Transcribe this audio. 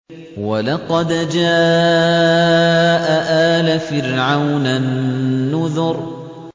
وَلَقَدْ جَاءَ آلَ فِرْعَوْنَ النُّذُرُ